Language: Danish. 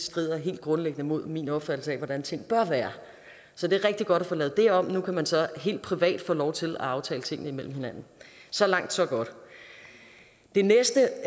strider helt grundlæggende mod min opfattelse af hvordan tingene bør være så det er rigtig godt at få lavet det om nu kan man så helt privat få lov til at aftale tingene mellem hinanden så langt så godt den næste